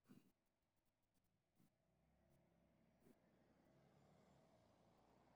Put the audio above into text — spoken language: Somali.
Ku lug lahaanshaha bulshadu waxay abuuri kartaa shabakad taageero waxbarasho oo xooggan.